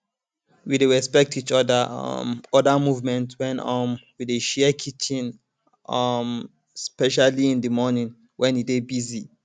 we dey respect each um other movement when um we dey share kitchen um especially in the morning when e dey busy